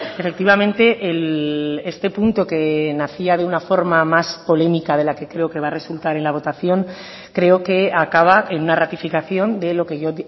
efectivamente este punto que nacía de una forma más polémica de la que creo que va a resultar en la votación creo que acaba en una ratificación de lo que yo